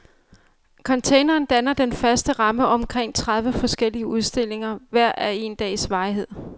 Containeren danner den faste ramme omkring tredive forskellige udstillinger, hver af én dags varighed.